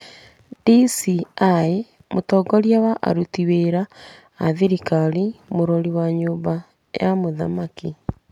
DCI, mũtongoria wa aruti wĩra a thirikari, mũrori wa nyũmba ya mũthamaki.